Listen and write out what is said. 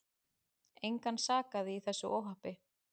Engan sakaði í þessu óhappi.